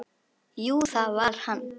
Jú, það var hann!